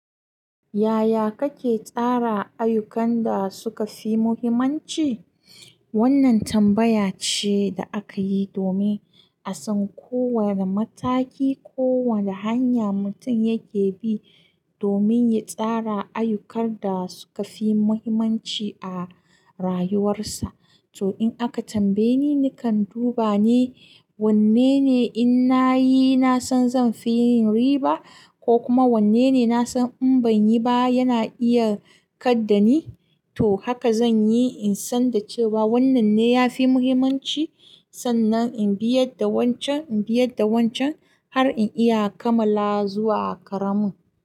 Yaya kake tsara ayyukan da suka fi muhimmanci? Wannan tambaya ce da aka yi domin a san ko wane mataki, ko wane hanya mutum yake bi domin ya tsara ayyukan da suka fi muhimmanci a rayuwarsa. To in aka tambaye ni, nakan duba ne wanne ne in na yi, na san zan fi yin riba, ko kuma wanne ne na san in ban yi ba yana iya kaddani. To haka zan yi in san da cewa wannan ne ya fi muhimmanci. Sannan in biyad da wancan, in biyar da wancan har in iya kammala zuwa ƙaramin.